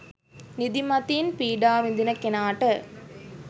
නිදිමතින් පීඩා විඳින කෙනාට